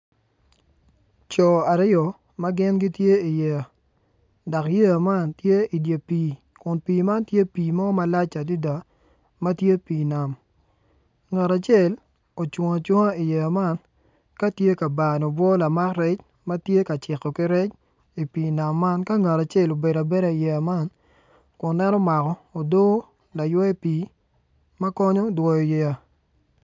Co aryo ma gin gitye iyeya dok yeya man tye idye pii kun pii man tye pii mo malac adada ma tye pii nam ngat acel ocung cunga iyeya man ka tye ka bano obwo lamak rec ma tye ka ciko ki rec i pii nam man ka ngat acel obedo abeda iyeya man kun en omako odoo laywe pii ma konyo dwoyo yeya.